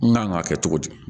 N kan k'a kɛ cogo di